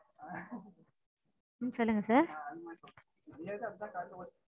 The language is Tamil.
சொல்லுங்க sir.